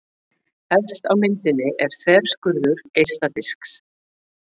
Efst á myndinni er þverskurður geisladisks.